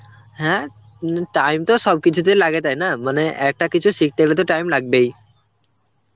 হ্যাঁ উম time তো সবকিছুতেই লাগে তাই না, মানে একটা কিছু শিখতে হলে তো টাইম লাগবেই.